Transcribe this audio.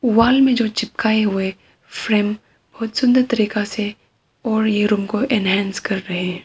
वाल में जो चिपकाए हुए फ्रेम बहुत सुंदर तरीका से और यह रूम को एनहांस कर रहे हैं।